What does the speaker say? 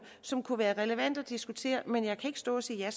som kunne være relevante at diskutere men jeg kan ikke stå og sige ja